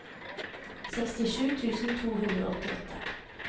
sekstisju tusen to hundre og åttiåtte